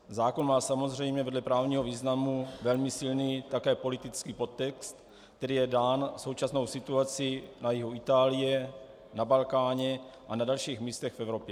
Zákon má samozřejmě vedle právního významu velmi silný také politický podtext, který je dán současnou situací na jihu Itálie, na Balkáně a na dalších místech v Evropě.